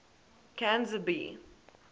canzibe